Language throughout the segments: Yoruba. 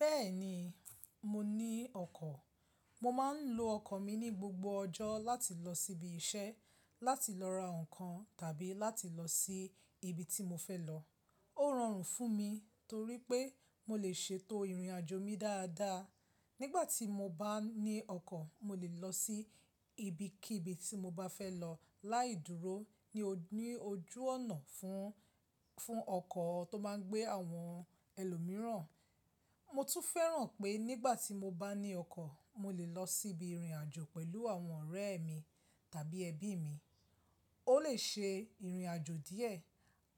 Bẹ́ẹ̀ni, mo ní ọkọ̀. Mo máa ń lo ọkọ̀ mi ní gbogbo ọjọ́ láti lọ síbi iṣẹ́, láti lọ ra ǹkan tàbí láti lọ sí ibi tí mo fẹ́ lọ. Ó rọrùn fún mi torí pé mo lè ṣètò ìrìnàjò mi dáadáa. Nígbà tí mo bá ní ọkọ̀, mo lè lọ sí ibikíbi tí mo bá fẹ́ lọ láì dúró ní ojú ọ̀nà fún, fún ọkọ̀ tó máa ń gbé àwọn ẹlòmíràn. Mo tún fẹ́ràn pé nígbà tí mo bá ní ọkọ̀, mo lè lọ síbi ìrìnàjò pẹ̀lú àwọn ọ̀rẹ́ mi tàbí ẹbí mi. Ó lè ṣe ìrìnàjò díẹ̀,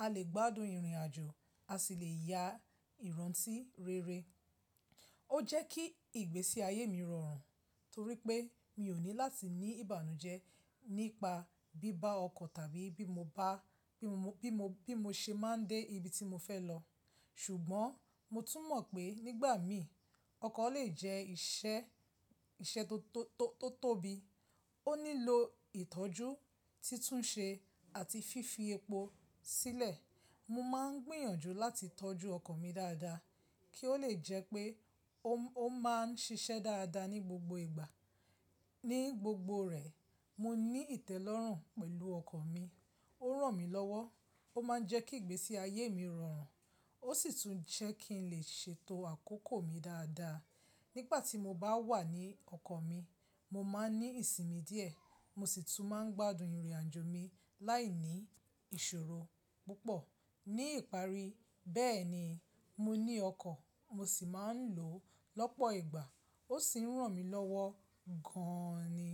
a lè gbádùn ìrìnàjò, a sì lè ya ìrántí rere. Ó jẹ́ kí ìgbésí ayé mi rọrùn torí pé mi ò ní láti ní ìbànújẹ́ nípa bí bá ọkọ̀ tàbí bí mo bá, bí mo, bí mo ṣe máa dé ibi tí mo fẹ́ lọ. Ṣùgbọ́n mo tún mọ̀ pé nígbà mí, ọkọ̀ lè jẹ́ iṣẹ́, iṣẹ́ tó, tó, tó tóbi. Ó nílò ìtọ́jú, títúnṣe àti fífi epo sílẹ̀. Mo máa ń gbìyànjú láti tọ́jú ọkọ̀ mi dáadáa kí ó lè jẹ́ pé ó, ó máa ń ṣiṣẹ́ dáadáa ní gbogbo ìgbà. Ní gbogbo rẹ̀, mo ní ìtẹ́lọ́rùn pẹ̀lú ọkọ̀ mi. Ó ràn mí lọ́wọ́. Ó máa ń jẹ́ kí ìgbésí ayé mi rọrùn. Ó sì tún jẹ́ kí n lè ṣètò àkókò mi dáadáa. Nígbà tí mo bá wà ní ọkọ̀ mi, mo máa ní ìsinmi díẹ̀. Mo sì tún máa ń gbádùn ìrìnàjò mi láìní ìṣòro púpọ̀. Ní ìparí, bẹ́ẹ̀ni, mo ní ọkọ̀, mo sì máa ń lò ó lọ́pọ̀ ìgbà. Ó sì ń ràn mí lọ́wọ́ gan ni.